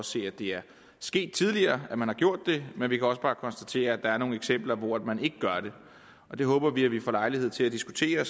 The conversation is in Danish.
se at det er sket tidligere at man har gjort det men vi kan også bare konstatere at der er nogle eksempler hvor man ikke gør det og det håber vi at vi får lejlighed til at diskutere